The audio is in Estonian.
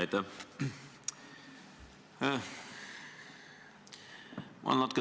Aitäh!